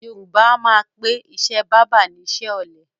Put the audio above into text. Yorùbá a máa pè ìṣe báábà ni iṣẹ́ ọ̀lẹ